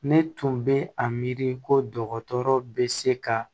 Ne tun bɛ a miiri ko dɔgɔtɔrɔ bɛ se ka